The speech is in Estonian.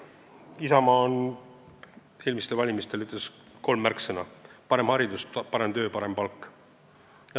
Isamaal oli eelmistel valimistel kolm märksõna: "parem haridus", "parem töö" ja "parem palk".